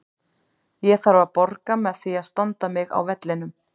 Ég þarf að borga með því að standa mig á vellinum.